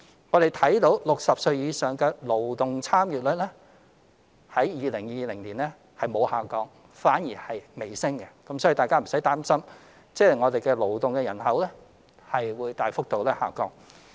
我們看到60歲或以上的勞動人口參與率於2020年沒有下降，反而微升，所以大家無需擔心勞動人口大幅下降。